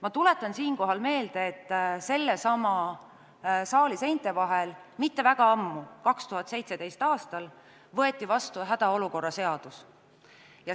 Ma tuletan siinkohal meelde, et sellesama saali seinte vahel mitte väga ammu, 2017. aastal võeti vastu hädaolukorra seadus.